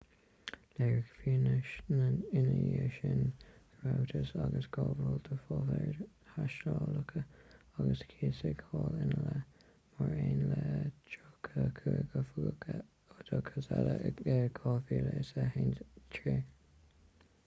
léirigh fianaise ina dhiaidh sin go rabhthas ag gabháil do pháipéir thástálacha agus cúisíodh hall ina leith mar aon le 34 oifigeach oideachais eile in 2013